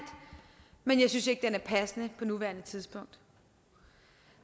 men jeg synes ikke den er passende på nuværende tidspunkt